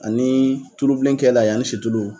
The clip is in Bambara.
Ani tulubilen kɛl'a ye ani situlu